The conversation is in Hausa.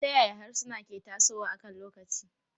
Ta yaya harsuna ke tasowa akan lokaci?